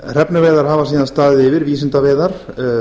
hrefnuveiðar hafa síðan staðið yfir vísindaveiðar